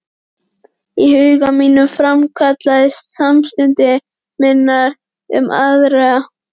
Í huga mínum framkallaðist samstundis minning um aðra